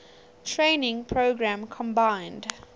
training program combined